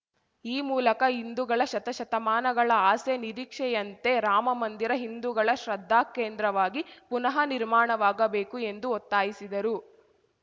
ಈ ಮೂಲಕ ಹಿಂದುಗಳ ಶತಶತಮಾನಗಳ ಆಸೆ ನಿರೀಕ್ಷೆಯಂತೆ ರಾಮ ಮಂದಿರ ಹಿಂದುಗಳ ಶ್ರದ್ಧಾ ಕೇಂದ್ರವಾಗಿ ಪುನಃ ನಿರ್ಮಾಣವಾಗಬೇಕು ಎಂದು ಒತ್ತಾಯಿಸಿದರು